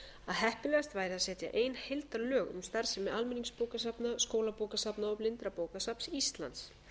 heppilegast væri að setja ein heildarlög um starfsemi almenningsbókasafna skólabókasafna og blindrabókasafns íslands